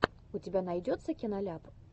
у тебя найдется киноляп